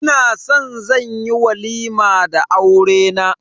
Ina san zan yi walima da aurena.